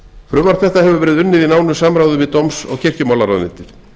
frumvarp þetta hefur verið unnið í samráði við dóms og kirkjumálaráðuneytið